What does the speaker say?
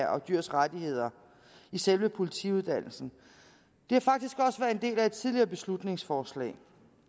og dyrs rettigheder i selve politiuddannelsen det har faktisk også været en del af et tidligere beslutningsforslag